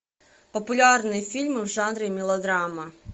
популярные фильмы в жанре мелодрама